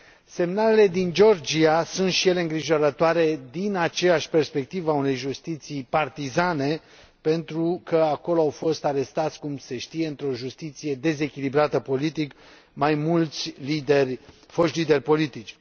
Semnalele din Georgia sunt și ele îngrijorătoare, din aceeași perspectivă a unei justiții partizane, pentru că acolo au fost arestați, cum se știe, într o justiție dezechilibrată politic, mai mulți foști lideri politici.